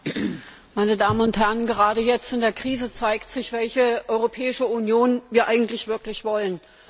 Frau Präsidentin, meine Damen und Herren! Gerade jetzt in der Krise zeigt sich, welche Europäische Union wir eigentlich wirklich wollen.